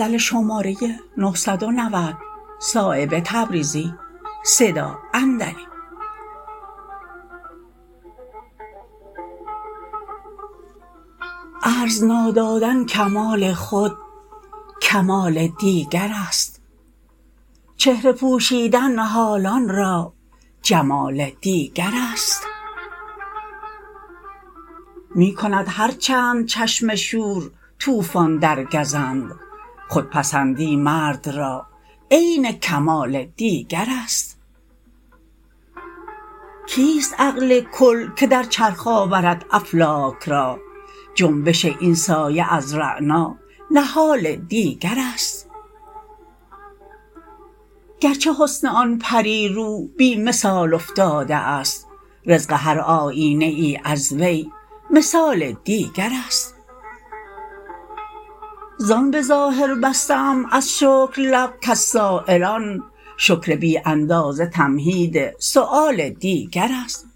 عرض نادادن کمال خود کمال دیگرست چهره پوشیده حالان را جمال دیگرست می کند هر چند چشم شور طوفان در گزند خودپسندی مرد را عین الکمال دیگرست کیست عقل کل که در چرخ آورد افلاک را جنبش این سایه از رعنانهال دیگرست گرچه حسن آن پری رو بی مثال افتاده است رزق هر آیینه ای از وی مثال دیگرست زان به ظاهر بسته ام از شکر لب کز سایلان شکر بی اندازه تمهید سؤال دیگرست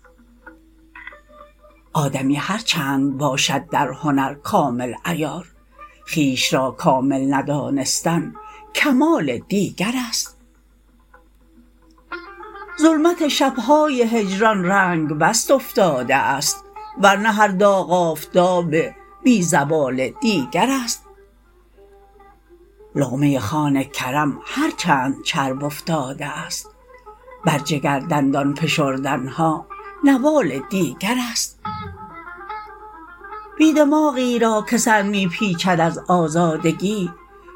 آدمی هر چند باشد در هنر کامل عیار خویش را کامل ندانستن کمال دیگرست ظلمت شبهای هجران رنگ بست افتاده است ورنه هر داغ آفتاب بی زوال دیگرست لقمه خوان کرم هر چند چرب افتاده است بر جگر دندان فشردن ها نوال دیگرست بی دماغی را که سر می پیچد از آزادگی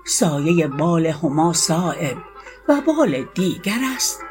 سایه بال هما صایب وبال دیگرست